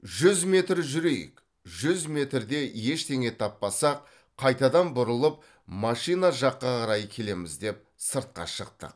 жүз метр жүрейік жүз метрде ештеңе таппасақ қайтадан бұрылып машина жаққа қарай келеміз деп сыртқа шықтық